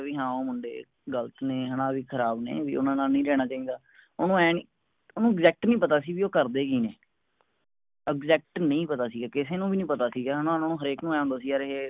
ਵੀ ਹਾਂ ਉਹ ਮੁੰਡੇ ਗਲਤ ਨੇਂ ਹੈਨਾ ਵੀ ਖਰਾਬ ਨੇ ਵੀ ਓਹਨਾ ਨਾਲ ਨੀ ਰਹਿਣਾ ਚਾਹਿਦਾ ਓਨੁ exact ਨੀ ਪਤਾ ਸੀ ਬੀ ਊ ਕਰਦੇ ਕੀ ਨੇਂ exact ਨਹੀਂ ਪਤਾ ਸੀਗਾ ਕਿਸੇ ਨੂੰ ਵੀ ਨਹੀਂ ਪਤਾ ਸੀਗਾ ਹੈਨਾ ਓਹਨਾ ਨੂੰ ਹਰ ਇਕ ਨੂੰ ਐਂ ਹੁੰਦਾ ਸੀ ਯਾਰ ਇਹ